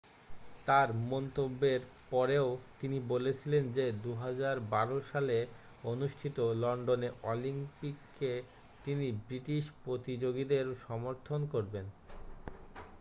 তার মন্তব্যের পরেও তিনি বলেছিলেন যে 2012 সালে অনুষ্ঠিত লন্ডনে অলিম্পিকে তিনি ব্রিটিশ প্রতিযোগীদের সমর্থন করবেন